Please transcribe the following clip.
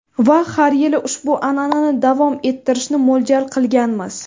Va har yili ushbu an’anani davom ettirishni mo‘ljal qilganmiz.